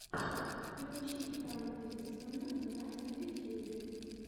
включи пранк риссмана на ютьюбе